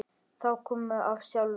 Það kom af sjálfu sér.